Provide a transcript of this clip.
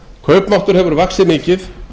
kaupmáttur hefur vaxið mikið